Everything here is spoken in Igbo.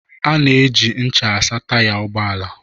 Ana eji ncha asa Taya ụgbọala.